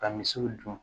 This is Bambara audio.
Ka misiw dun